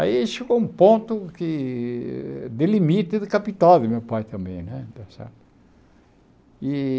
Aí chegou um ponto que de limite do capital do meu pai também né. e